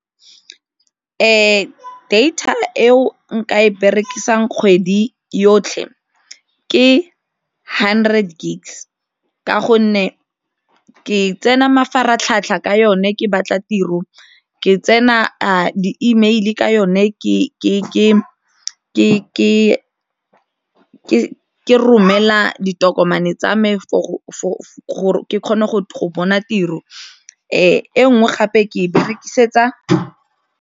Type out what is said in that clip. Data eo nka e berekisang kgwedi yotlhe ke hundred gigs ka gonne ke tsena mafaratlhatlha ka yone ke batla tiro, ke tsena a di-email ka yone ke romela ditokomane tsa me for gore ke kgone go bona tiro fa e nngwe gape ke berekisetsa.